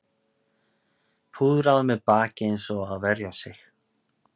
Púðra á mér bakið eins og að verja sig